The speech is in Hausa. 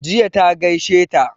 Jiya ta gaishe ta